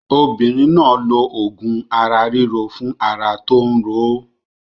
Obinrin náà lo òògùn ara ríro fún ara tó ń ro ó.